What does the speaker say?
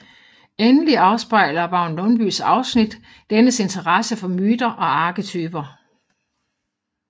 Endelig afspejler Vagn Lundbyes afsnit dennes interesse for myter og arketyper